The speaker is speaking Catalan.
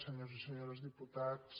senyors i senyores diputats